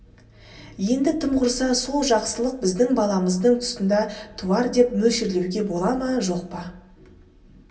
енді тым құрса сол жақсылық біздің баламыздың тұсында туар деп мөлшерлеуге бола ма жоқ па